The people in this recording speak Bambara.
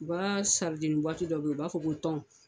U ka saridini dɔ bɛ ye u ba fɔ ko tɔn.